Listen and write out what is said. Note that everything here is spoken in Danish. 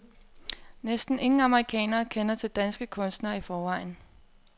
Næsten ingen amerikanere kender til danske kunstnere i forvejen.